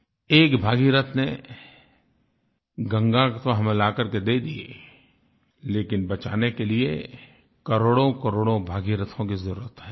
एक भगीरथ ने गंगा तो हमें ला कर दे दी लेकिन बचाने के लिए करोड़ोंकरोड़ों भगीरथों की ज़रूरत है